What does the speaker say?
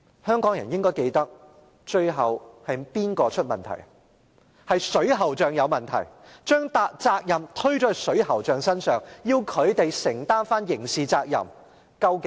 香港人應該記得最後是水喉匠有問題，把責任推卸到水喉匠身上，要他們承擔刑事責任。